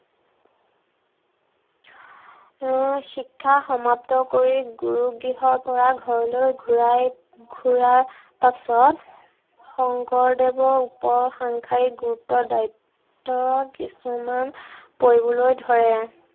উম শিক্ষা সমাপ্ত কৰি গুৰুগৃহৰ পৰা ঘৰলৈ ঘূৰাই, ঘূৰাৰ পাছত শংকৰদেৱৰ ওপৰত সংসাৰৰ গুৰুত্ব দায়িত্ব কিছুমান পৰিবলৈ ধৰে।